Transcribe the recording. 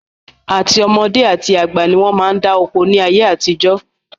Àti ọmọdé àti àgbà ni wọn máa ń dá oko ni ayé àtijọ́